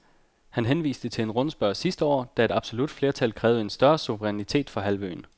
Han henviste til en rundspørge sidste år, da et absolut flertal krævede en større suverænitet for halvøen.